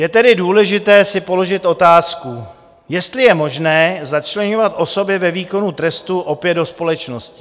Je tedy důležité si položit otázku, jestli je možné začleňovat osoby ve výkonu trestu opět do společnosti.